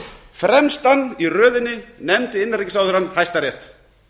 fremstan í röðinni nefndi innanríkisráðherrann hæstarétt